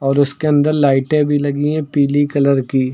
और उसके अंदर लाइटें भी लगी हैं पीली कलर की।